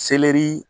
Selɛri